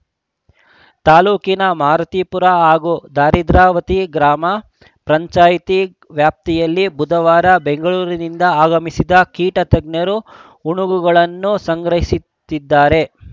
ತಾಲೂಕಿನ ಮಾರುತಿಪುರ ಹಾಗೂ ಹರಿದ್ರಾವತಿ ಗ್ರಾಮ ಪಂಚಾಯಿತಿ ವ್ಯಾಪ್ತಿಯಲ್ಲಿ ಬುಧವಾರ ಬೆಂಗಳೂರಿನಿಂದ ಆಗಮಿಸಿದ ಕೀಟ ತಜ್ಞರು ಉಣುಗುಗಳನ್ನು ಸಂಗ್ರಹಿಸುತ್ತಿದ್ದಾರೆ